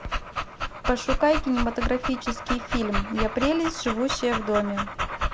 пошукай кинематографический фильм я прелесть живущая в доме